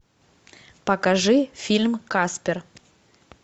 покажи фильм каспер